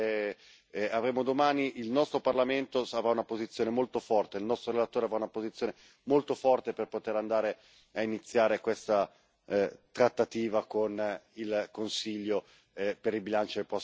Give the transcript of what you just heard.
avremo domani, il nostro Parlamento avrà una posizione molto forte, il nostro relatore avrà una posizione molto forte per poter andare a iniziare questa trattativa con il Consiglio per il bilancio del prossimo anno.